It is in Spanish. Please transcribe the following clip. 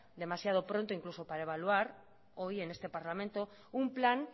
demasiado pronto incluso para evaluar hoy en este parlamento un plan